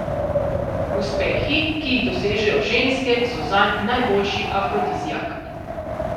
Uspehi, ki jih dosežejo ženske, so zanj najboljši afrodiziak.